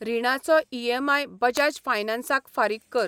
रिणाचो EMI Bajaj फायनान्साक फारीक कर.